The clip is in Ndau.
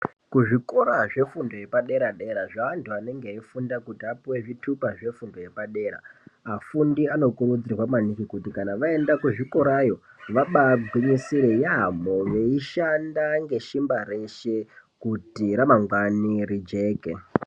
Kuzvikora zvefundo yepadera dera zveantu anenge eyifunda kuti apuwe zvitupa zveantu yepadera, afundi anokurudzirwa maningi kuti vaenda kuzvikorayo vabagwinyisira yaambo yeibashanda ngesimba reshe kuti ramangwani rijeke.